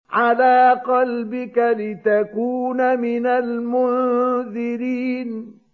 عَلَىٰ قَلْبِكَ لِتَكُونَ مِنَ الْمُنذِرِينَ